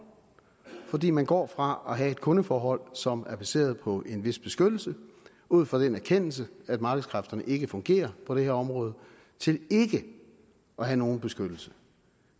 fordi man går fra at have et kundeforhold som er baseret på en vis beskyttelse ud fra den erkendelse at markedskræfterne ikke fungerer på det her område til ikke at have nogen beskyttelse